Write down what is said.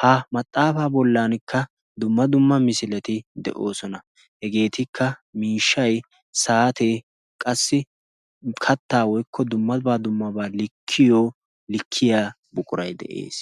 ha maxaafaa bollankka dumma dumma misileti de'oosona hegeetikka miishshay saatee qassi kattaa woykko dummabaa dummabaa likkiyo likkiya buquray de'ees